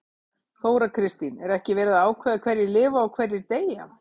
Þóra Kristín: Er ekki verið að ákveða hverjir lifa og hverjir deyja?